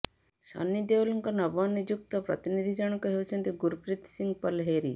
ସନ୍ନି ଦେଓଲଙ୍କ ନବନିଯୁକ୍ତ ପ୍ରତିନିଧି ଜଣଙ୍କ ହେଉଛନ୍ତି ଗୁରପ୍ରୀତ ସିଂହ ପଲହେରି